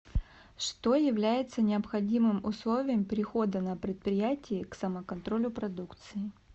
что является необходимым условием перехода на предприятии к самоконтролю продукции